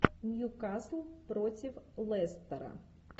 ньюкасл против лестера